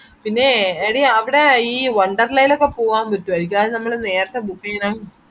പിന്നെ എടി അവിടെ ഈ wonderla ലോക്കെ പോവാൻ പറ്റുവാരിക്കോ അത് നമ്മള് നേരത്തെ book ചെയ്താൽ